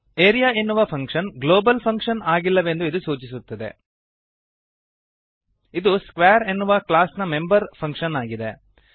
area ಎನ್ನುವ function global function ಆಗಿಲ್ಲವೆಂದು ಇದು ಸೂಚಿಸುತ್ತದೆ ಇದು ಸ್ಕ್ವೇರ್ ಎನ್ನುವ ಕ್ಲಾಸ್ನ ಮೆಂಬರ್ ಫಂಕ್ಶನ್ ಆಗಿದೆ